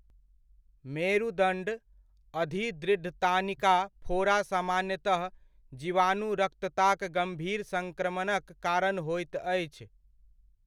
मेरुदण्ड अधिदृढ़तानिका फोड़ा सामान्यतः जिवाणुरक्तताक गम्भीर संक्रमणक कारण होइत अछि।